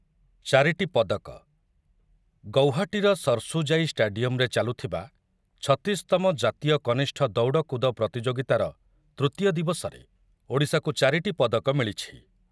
ଚାରିଟି ପଦକ ଗୌହାଟୀର ସର୍ସୁଜାଇ ଷ୍ଟାଡିୟମ୍‌ରେ ଚାଲୁଥିବା ଛତିଶ ତମ ଜାତୀୟ କନିଷ୍ଠ ଦୌଡ଼କୁଦ ପ୍ରତିଯୋଗିତାର ତୃତୀୟ ଦିବସରେ ଓଡ଼ିଶାକୁ ଚାରିଟି ପଦକ ମିଳିଛି